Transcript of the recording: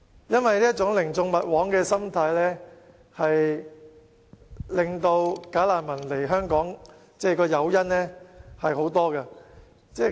因為這種寧縱勿枉的心態，令"假難民"有很多誘因來港。